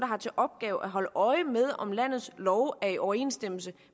har til opgave at holde øje med om landets love er i overensstemmelse